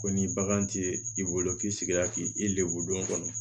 Ko ni bagan ti i bolo f'i sigila k'i lebulon kɔnɔ